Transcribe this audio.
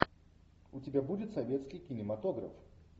у тебя будет советский кинематограф